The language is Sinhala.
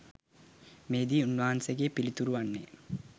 මෙහිදී උන්වහන්සේගේ පිළිතුර වන්නේ